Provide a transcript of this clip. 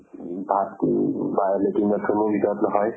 উব বাত latrine bathroom ৰ হিচাপ নহয়